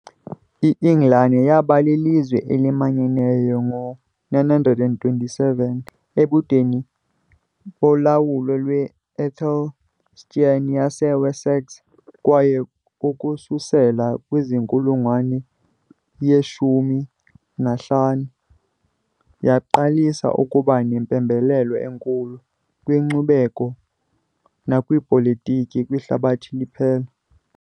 INgilani yaba lilizwe elimanyeneyo ngo -927, ebudeni bolawulo lwe-AEthelstan yaseWessex, kwaye ukususela kwinkulungwane ye-15 yaqalisa ukuba nempembelelo enkulu, kwinkcubeko nakwipolitiki, kwihlabathi liphela.